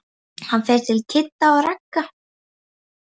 Hann fer til Kidda og Ragga.